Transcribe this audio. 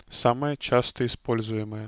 самое часто используемое